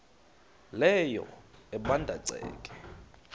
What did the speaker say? leyo ebanda ceke